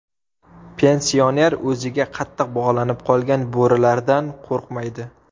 Pensioner o‘ziga qattiq bog‘lanib qolgan bo‘rilardan qo‘rqmaydi.